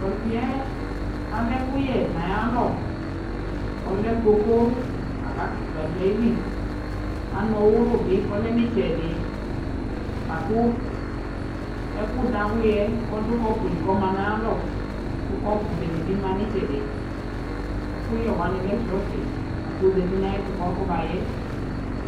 Tu ɔsɩ yɛ, alɛ ɛkuyɛ naya lɔ Ɔlɛ koko la ka kɩtɩwa ɖu ayɩlɩ Anu ɔwulu bɩ kɔlɛ nɩtsɛɖɩ La ku ɛku dawlɩ yɛ ɔɖu kɔpu lɩ kɔma nayalɔ ku kɔpu bene bɩ ma ɩtsɛɖɩ Ɛku yɛ wani lɛ sɔɔte akɔ zatɩ nayɛtu ka fɔ mayɛ